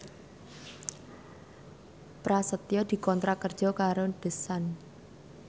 Prasetyo dikontrak kerja karo The Sun